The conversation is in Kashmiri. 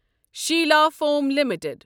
Sheila foam limited